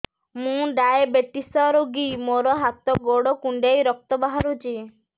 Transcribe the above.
ମୁ ଡାଏବେଟିସ ରୋଗୀ ମୋର ହାତ ଗୋଡ଼ କୁଣ୍ଡାଇ ରକ୍ତ ବାହାରୁଚି